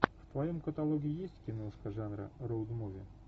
в твоем каталоге есть киношка жанра роуд муви